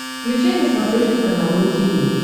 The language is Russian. включай на смотрешке канал ру ти ви